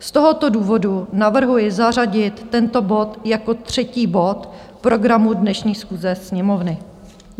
Z tohoto důvodu navrhuji zařadit tento bod jako třetí bod programu dnešní schůze Sněmovny.